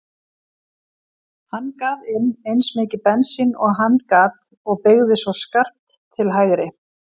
Hann gaf inn eins mikið bensín og hann gat og beygði svo skarpt til hægri.